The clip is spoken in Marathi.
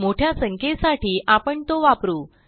मोठ्या संख्येसाठी आपण तो वापरू